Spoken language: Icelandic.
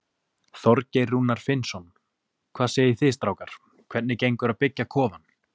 Þorgeir Rúnar Finnsson: Hvað segið þið strákar, hvernig gengur að byggja kofann?